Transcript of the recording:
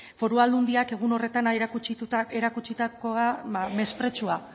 foru aldundiak egun horretan erakutsita